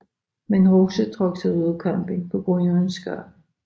Men Rosa trak sig ud af kampen på grund af en skade